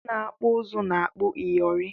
Ndị ọkpụ uzu na-akpọ ịyịọrị